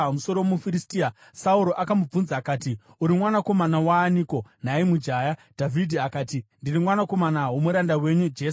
Sauro akamubvunza akati, “Uri mwanakomana waaniko, nhai mujaya?” Dhavhidhi akati, “Ndiri mwanakomana womuranda wenyu Jese wokuBheterehema.”